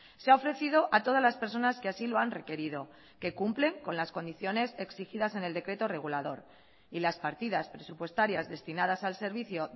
se ha ofrecido a todas las personas que así lo han requerido que cumplen con las condiciones exigidas en el decreto regulador y las partidas presupuestarias destinadas al servicio